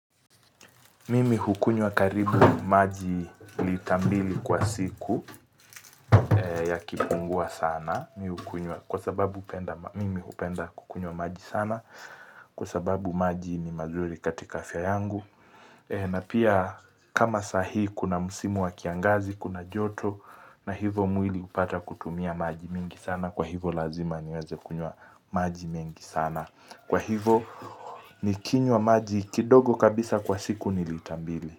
Mimi hukunywa karibu maji lita mbili kwa siku yakipungua sana mimi hukunywa. Kwa sababu hupenda mimi hupenda kukunywa maji sana. Kwa sababu maji ni mazuri katika afya yangu. Na pia kama sahii kuna musimu wa kiangazi, kuna joto. Na hivo mwili hupata kutumia maji mingi sana. Kwa hivo lazima niweze kunywa maji mengi sana. Kwa hivo nikinywa maji kidogo kabisa kwa siku nilitambili.